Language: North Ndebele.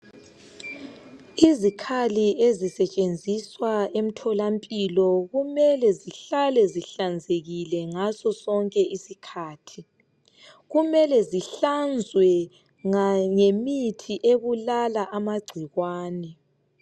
Izikhali ezisetshenziswa emtholampilo kumele zihlale zihlanzekile ngasosonke isikhathi, kumele zihlanzwe ngemithi ebulala amagcikwane.